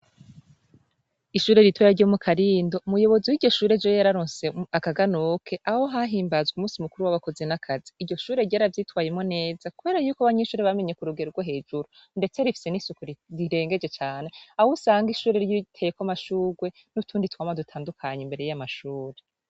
Ishure ritoya ryo mu karindo umuyobozi w'igoshure jewe yararonse akaganoke aho hahimbazwe umusi mukuru w'abakozi nakazi iryo shure ryoara vyitwayemo neza kuheree yuko banyishure bamenye ku rugerwa hejuru, ndetse rifise n'isuku rirengeje cane awo usanga ishure ry'iiteyeko mashurwe n'utundi twama dutandukanye imbere y'amashure.